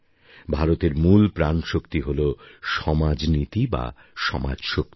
ভারতের মূল প্রাণশক্তি হলো সমাজনীতি বা সমাজশক্তি